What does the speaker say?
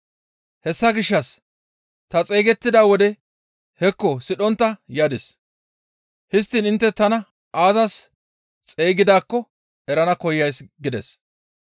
Hessa gishshas ta xeygettida wode hekko sidhontta yadis; histtiin intte tana aazas xeygidaakko erana koyays» gides.